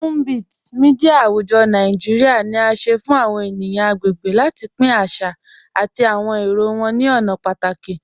Tunbit, mídia àwùjọ̀ Nàìjíríà, ni à sẹ fun àwọn ènìyàn agbègbè láti pín àṣà àti àwọn èrò wọn ni ọ̀nà pátàkì.